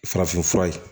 Farafin fura ye